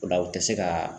O la u tɛ se ka